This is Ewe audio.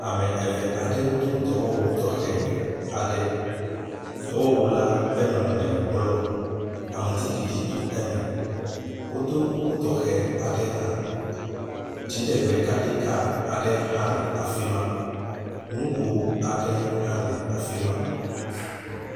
Ame eve aɖewo do dɔwɔwu tɔxe aɖe, Dɔwɔwu la ƒe nɔnɔme le blɔ aŋutiɖiɖi to eme wodo kuku tɔxe aɖe hã. Dziɖegbekaɖi ka aɖe hã le afi ma. Nugo aɖe hã le afi ma.